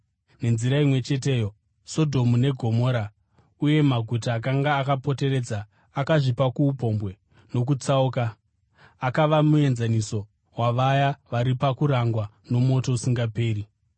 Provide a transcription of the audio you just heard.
Nenzira imwe cheteyo, Sodhomu neGomora uye namaguta akanga akapoteredza akazvipa kuupombwe nokutsauka, akava muenzaniso wavaya vari pakurangwa nomoto usingaperi.